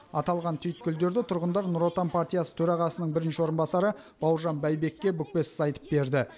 аталған түйткілдерді тұрғындар нұр отан партиясы төрағасының бірінші орынбасары бауыржан байбекке бүкпесіз айтып берді